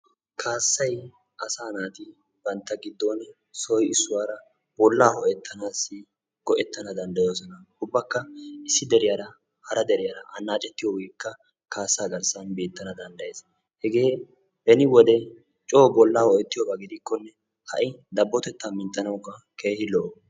Kaassay asa naati bantta giddon issoy issuwara bola ho''etanassi go'ettana danddayoosona. ubakka issi deriyaara hara deriyaara anaccetana danddayees. hege beni wode coo bolla ho''ettiyooba gidikkonne ha'i dabbotetta minttanawukka keehipe lo''o.